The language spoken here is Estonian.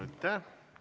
Aitäh!